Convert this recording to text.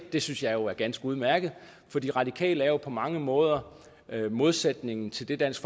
det synes jeg jo er ganske udmærket for de radikale er jo på mange måder modsætningen til det dansk